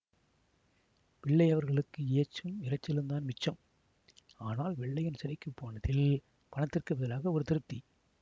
பிள்ளையவர்களுக்கு ஏச்சும் இரைச்சலுந்தான் மிச்சம் ஆனால் வெள்ளையன் சிறைக்கு போனதில் பணத்திற்குப் பதிலாக ஒரு திருப்தி